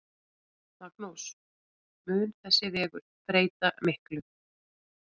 Magnús: Mun þessi vegur breyta miklu?